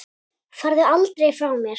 Farðu aldrei frá mér.